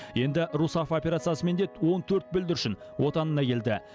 енді русафа операциясымен де он төрт бүлдіршін отанына келді